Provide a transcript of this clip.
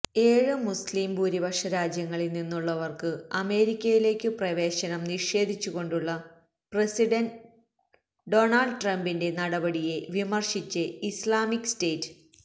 ഏഴ് മുസ്ലീം ഭൂരിപക്ഷരാജ്യങ്ങളിൽ നിന്നുമുള്ളവർക്കു അമേരിക്കയിലേയ്ക്കു പ്രവേശനം നിഷേധിച്ചു കൊണ്ടുള്ള പ്രസിഡന്റ് ഡൊണാൾഡ് ട്രംപിന്റെ നടപടിയെ വിമർശിച്ച് ഇസ്ലാമിക് സ്റ്റേറ്റ്